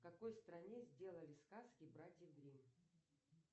в какой стране сделали сказки братьев гримм